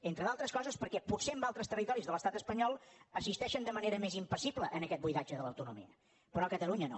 entre d’altres coses perquè potser en altres territoris de l’estat espanyol assisteixen de manera més impassible a aquest buidatge de l’autonomia però a catalunya no